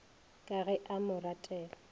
ka ge a mo ratela